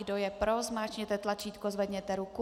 Kdo je pro, zmáčkněte tlačítko, zvedněte ruku.